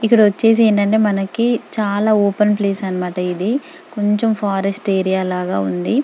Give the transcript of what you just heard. ఇక్కడ వచ్చేసి ఏంటంటే మనకి చాల ఓపెన్ ప్లేస్ అన్నమాట ఇది కొంచం ఫారెస్ట్ ఏరియా లగా ఉంది .